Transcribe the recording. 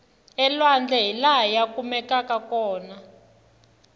elwandle hilaha ya kumekaku kona